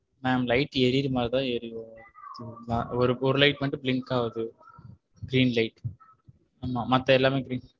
ma'am light எரிகிற மாதிரி தான் எரியுது ஒரு light மட்டும் blink ஆகுது green light மித்த எல்லாமமே.